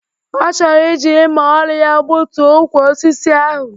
Ọ chọrọ iji mma ọrụ ya gbutuo ukwu osisi ahụ.